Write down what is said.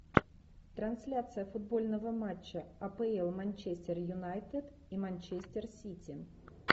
трансляция футбольного матча апл манчестер юнайтед и манчестер сити